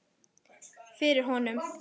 Fyrir honum.